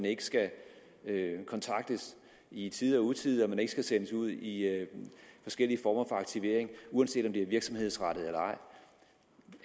ikke skal kontaktes i tide og utide og ikke skal sendes ud i forskellige former for aktivering uanset om det er virksomhedsrettet eller